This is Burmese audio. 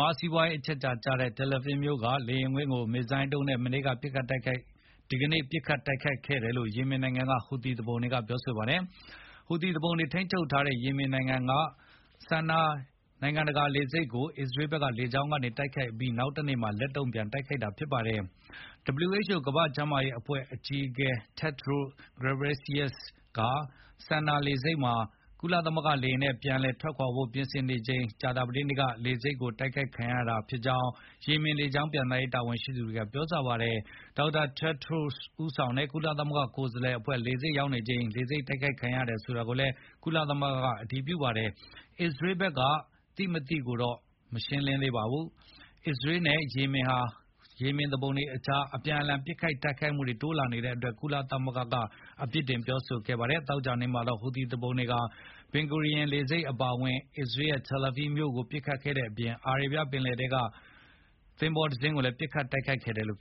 ှာ စီးပွားရေးအချက်အခြာကျတဲ့ Tel Aviv မြို့က လေယဉ်ကွင်းကို မစ်ဇိုင်းဒုံးနဲ့ ဒီနေ့ ပစ်ခတ်တိုက်ခိုက်ခဲ့တယ်လို့ Yemen နိုင်ငံက ဟူသီသူပုန်တွေကပြောပါတယ်။ ဟူသီသူပုန်တွေ ထိန်းချုပ်ထားတဲ့ Yemen နိုင်ငံက Sannaa နိုင်ငံတကာလေဆိပ်ကို အစ္စရေးဘက်က လေကြောင်း တိုက်ခိုက်ခဲ့ပြီးနောက်မှာ လက်တုံ့ပြန်တိုက်ခိုက်တာဖြစ်ပါတယ်။ WHO ကမ္ဘာ့ကျန်းမာရေးအဖွဲ့ အကြီးအကဲ Tedros Adhanom Ghebreyesus က Sannaa လေဆိပ်ကနေ ကုလသမဂ္ဂလေယာဉ်နဲ့ ပြန်လည်ထွက်ခွာဖို့ပြင်နေချိန် ကြာသပတေးနေ့က Sannaa လေဆိပ်တိုက်ခိုက် ခံရတာလို့ Yemen လေကြောင်းပျံသန်းရေးတာဝန်ရှိသူတွေက ပြောပါတယ်။ Dr. Tedros ဦးဆောင်တဲ့ ကုလကိုယ်စားလှယ်အဖွဲ့ လေဆိပ်ရောက်နေချိန် လေဆိပ် တိုက်ခိုက်ခံရတယ်ဆိုတာကို ကုလသမဂ္ဂ ကလည်း အတည်ပြုပါတယ်။ အစ္စရေးဘက်က သိ မသိဆိုတော့ မရှင်းသေးပါဘူး။ အစ္စရေးနဲ့ Yemen က ဟူသီသူပုန်တွေကြား အပြန်အလှန် တိုက်ခိုက်မှုတွေ တိုးလာတဲ့အပေါ် ကုလသမဂ္ဂက အပြစ်တင်ခဲ့ပါတယ်။ ဒီနေ့ သောကြာနေ့မှာတော့ ဟူသီသူပုန်တွေက Ben Gurion လေဆိပ်အပါအဝင် အစ္စရေးရဲ့ Tel Avis မြို့ကို ပစ်ခတ်ခဲ့တဲ့အပြင် အာရေဗျပင်လယ်ထဲကသင်္ဘောတစင်းကိုလည်း ပစ်ခတ်တိုက်ခိုက်ခဲ့တယ်လို့